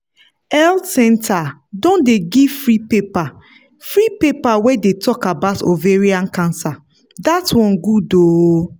health centre don dey give free paper free paper wey dey talk about ovarian cancer that one good ooo